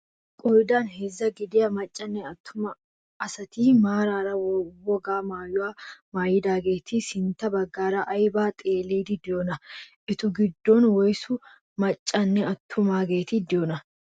Qoodan heezzaa gidiyaa maccanne attuma asati maarara wogaa maayuwaa maayidaageti sintta baggaara aybaa xeelliidi de'iyoonaa? etu giddonkka woysu maccaaganne attumaageti de'iyoonaa?